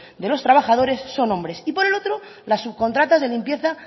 de los trabajadores son hombres y por el otro las subcontratas de limpieza